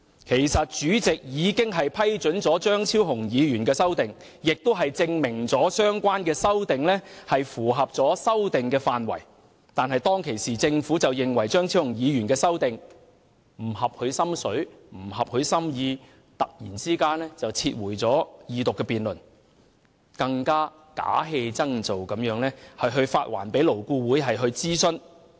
其實，主席已經批准張議員的修正案，證明他的修正案符合修訂範圍，但當時政府卻認為他的修正案不合其心意，突然撤回《條例草案》，更假戲真做地發還勞顧會諮詢。